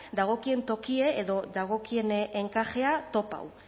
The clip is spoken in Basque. dagokien tokia edo dagokien enkajea topatu